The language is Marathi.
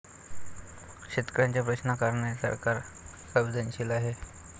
शेतकऱ्यांच्या प्रश्नांप्रकरणी सरकार संवेदनशील आहे.